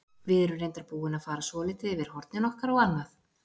Við erum reyndar búin að fara svolítið yfir hornin okkar og annað.